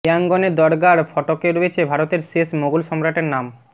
ইয়াঙ্গনের দরগার ফটকে রয়েছে ভারতের শেষ মোগল সম্রাটের নাম